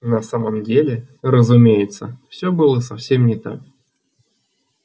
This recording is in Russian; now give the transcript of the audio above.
на самом деле разумеется всё было совсем не так